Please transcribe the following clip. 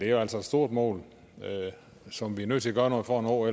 er altså et stort mål som vi er nødt til at gøre noget for